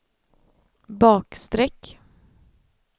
bakstreck